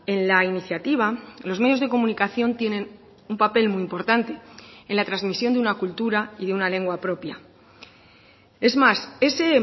en la iniciativa los medios de comunicación tienen un papel muy importante en la transmisión de una cultura y de una lengua propia es más ese